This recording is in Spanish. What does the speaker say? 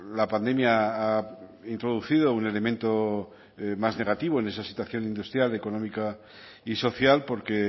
la pandemia ha introducido un elemento más negativo en esa situación industrial económica y social porque